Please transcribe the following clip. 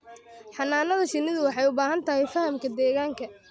Xannaanada shinnidu waxay u baahan tahay fahamka deegaanka.